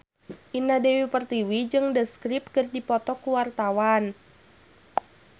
Indah Dewi Pertiwi jeung The Script keur dipoto ku wartawan